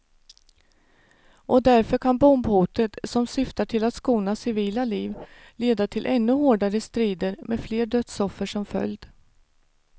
Och därför kan bombhotet, som syftar till att skona civila liv, leda till ännu hårdare strider med fler dödsoffer som följd.